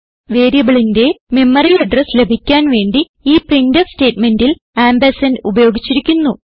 വേരിയബിളിന്റെ memory address ലഭിക്കാൻ വേണ്ടി ഈ പ്രിന്റ്ഫ് സ്റ്റേറ്റ്മെന്റിൽ ആംപർസാൻഡ് ഉപയോഗിച്ചിരിക്കുന്നു